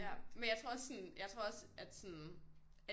Ja men jeg tror også sådan jeg tror også at sådan at